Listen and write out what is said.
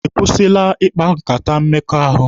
Ị kwụsịla ikpa nkata mmekọahụ?